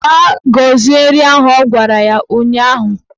Gaa gozie nri ahụ! Ọ gwara ya ụnyaahụ